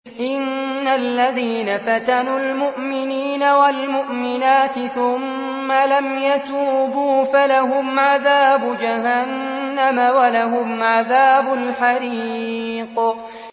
إِنَّ الَّذِينَ فَتَنُوا الْمُؤْمِنِينَ وَالْمُؤْمِنَاتِ ثُمَّ لَمْ يَتُوبُوا فَلَهُمْ عَذَابُ جَهَنَّمَ وَلَهُمْ عَذَابُ الْحَرِيقِ